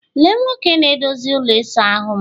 Lee Nwoke na-edozi ụlọ ịsa ahụ'm